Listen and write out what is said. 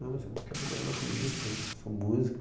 Não, mas eu não quero trabalhar na polícia não, eu sou músico.